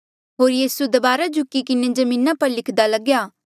होर यीसू दबारा झुकी किन्हें जमीना पर लिख्दा लग्या